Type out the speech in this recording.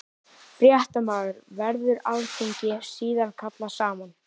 Fréttamaður: Verður alþingi síðan kallað saman?